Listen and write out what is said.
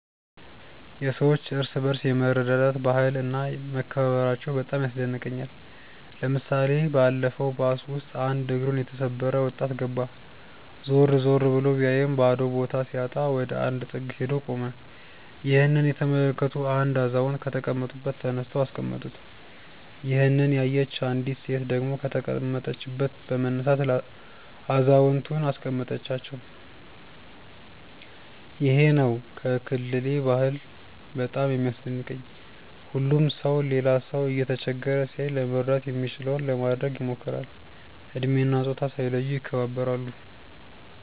የሰዎች እርስ በርስ የመረዳዳት ባህል እና መከባበራቸው በጣም ያስደንቀኛል። ለምሳሌ ባለፈው ባስ ውስጥ አንድ እግሩን የተሰበረ ወጣት ገባ። ዞር ዞር ብሎ ቢያይም ባዶ ቦታ ሲያጣ ወደ አንድ ጥግ ሄዶ ቆመ። ይህንን የተመለከቱ አንድ አዛውንት ከተቀመጡበት ተነስተው አስቀመጡት። ይሄንን ያየች አንዲት ሴት ደግሞ ከተቀመጠችበት በመነሳት አዛውየንቱን አስቀመጠቻቸው። ይሄ ነው ከክልሌ ባህል በጣም የሚያስደንቀኝ። ሁሉም ሰው ሌላ ሰው እየተቸገረ ሲያይ ለመርዳት የሚችለውን ለማድረግ ይሞክራል። እድሜ እና ፆታ ሳይለዩ ይከባበራሉ።